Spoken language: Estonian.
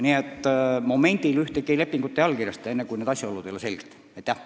Aga esialgu me ühtegi lepingut ei allkirjasta, enne peavad need asjaolud selgeks saama.